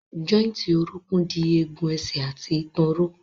Jọ́ìntì orókún dì egun ẹsẹ̀ àti ìtàn ró.